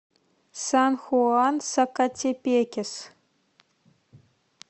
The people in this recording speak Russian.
сан хуан сакатепекес